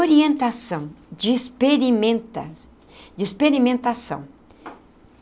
Orientação, de experimenta de experimentação.